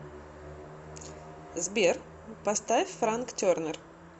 сбер поставь франк тернер